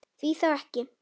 Því þá ekki?